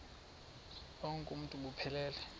bonk uuntu buphelele